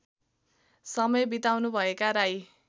समय बिताउनुभएका राई